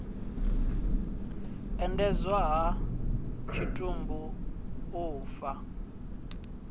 endedzwa ha tshitumbu u ḓa